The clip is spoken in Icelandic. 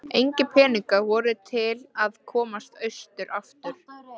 Engir peningar voru til að komast austur aftur.